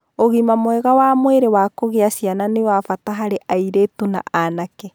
Ũgima mwega wa mwĩrĩ wa kugĩa ciana nĩ wa bata harĩ airĩtu na anake.